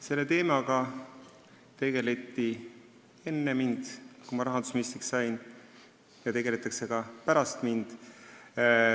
Selle teemaga tegeleti enne seda, kui mina rahandusministriks sain, ja tegeletakse ka pärast mind.